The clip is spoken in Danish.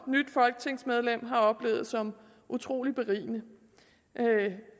nyt folketingsmedlem også har oplevet som utrolig berigende